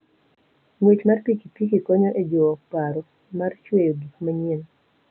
Ng'wech mar pikipiki konyo e jiwo paro mar chweyo gik manyien.